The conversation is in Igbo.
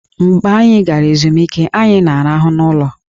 Mgbe anyị gara ezumike, anyị na-arahụ n'ụlọ